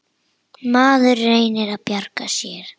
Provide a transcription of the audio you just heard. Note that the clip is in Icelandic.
Maður reynir að bjarga sér.